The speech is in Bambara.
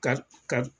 Ka ka